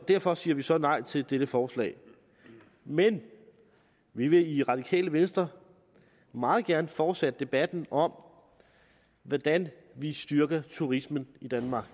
derfor siger vi så nej til dette forslag men vi vil i radikale venstre meget gerne fortsætte debatten om hvordan vi styrker turismen i danmark